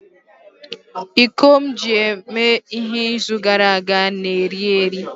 iko m ji mee ihe izu gara aga na-eri eri